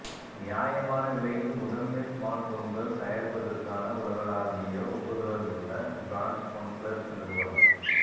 நியாயமான விலையில் முதன்மை ஸ்மார்ட்போன்கள் தயாரிப்பதற்கான உலகளாவிய ஒப்புதலுள்ள பிராண்ட் ஒன்பிளஸ் நிறுவனம்